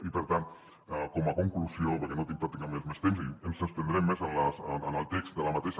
i per tant com a conclusió perquè no tinc pràcticament més temps i ens estendrem més en el text de la mateixa